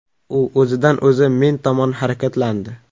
U o‘zidan-o‘zi men tomon harakatlandi.